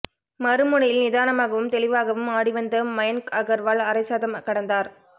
மறுமுனையில் நிதானமாகவும் தெளிவாகவும் ஆடிவந்த மயன்க் அகர்வால் அரைசதம் கடந்தார்